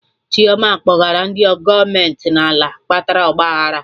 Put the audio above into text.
Chioma kpọrọgara ndị gọọmenti n'ala kpatara ọgba aghara